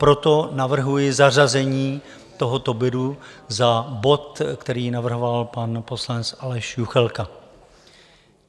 Proto navrhuji zařazení tohoto bodu za bod, který navrhoval pan poslanec Aleš Juchelka.